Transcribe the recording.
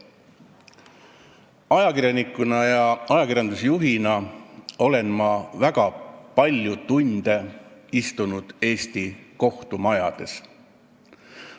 Ajakirjaniku ja ajakirjandusjuhina olen ma väga palju tunde istunud Eesti kohtumajades.